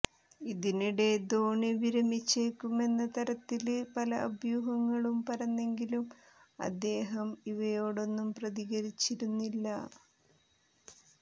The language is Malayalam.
ഇതിനിടെ ധോണി വിരമിച്ചേക്കുമെന്ന തരത്തില് പല അഭ്യൂഹങ്ങളും പരന്നെങ്കിലും അദ്ദേഹം ഇവയോടൊന്നും പ്രതികരിച്ചിരുന്നില്ല